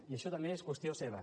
i això també és qüestió seva